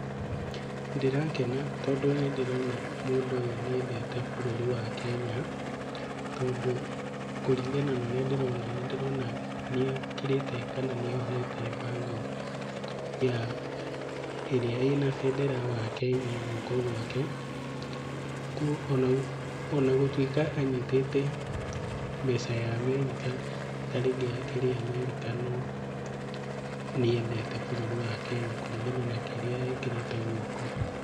Ndĩrakena tondũ nĩndĩrona mũndũ ũyũ nĩendete bũrũri wa kenya tondũ kũringana na ũrĩa ndĩrona , nĩndĩrona nĩekĩrĩte kana nĩ ohete bangũ ya ĩrĩa ĩna bendera ya kenya gũoko gwake ona gũtuĩka anyitĩte mbeca ya Amerika, tarĩngĩ akĩrĩ America. Nonĩendete bũrũri wa Kenya kũringana na kĩrĩa ekĩrĩte guoko.